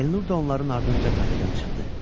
Elnur da onların ardınca kafedən çıxdı.